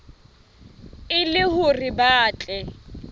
e le hore ba tle